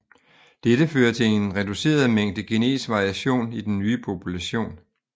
Dette fører til en reduceret mængde genetisk variation i den nye population